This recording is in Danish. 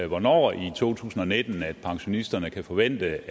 hvornår i to tusind og nitten at pensionisterne kan forvente